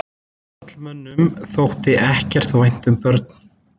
Karlmönnum þótti ekkert vænt um börn.